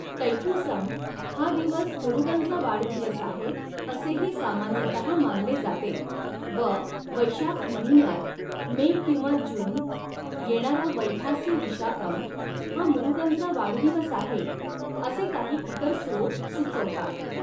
तैपुसम हा दिवस मुरुगनचा वाढदिवस आहे असेही सामान्यतहा मानले जाते व वैशाख महिन्यात मे किंवा जून येणारा वैखासी विशाकम हा मुरुगनचा वाढदिवस आहे असे काही इतर स्रोत सुचवतात.